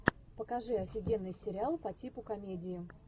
покажи офигенный сериал по типу комедии